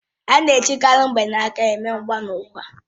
Á na-ejikarị mgbanaka eme mgbanwe nkwa